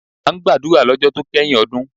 A ń gbàdúrà lọ́jọ́ to kẹ́yìn ọdún.